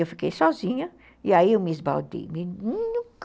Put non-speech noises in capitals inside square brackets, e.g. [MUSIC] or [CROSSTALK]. Eu fiquei sozinha e aí eu me esbaldei [UNINTELLIGIBLE]